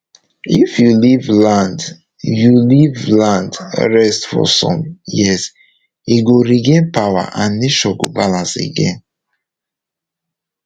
if you leave land you leave land rest for some years e go regain power and nature go balance again